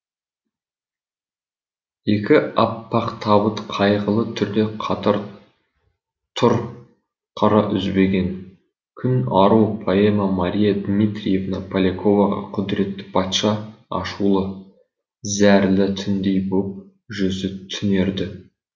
екі аппақ табыт қайғылы түрде қатар тұр қара үзбеген күн ару поэма мария дмитриевна поляковаға құдыретті патша ашулы зәрлі түндей боп жүзі түнерді